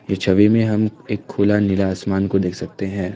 ये छवि में हम एक खुला नीला आसमान को देख सकते हैं।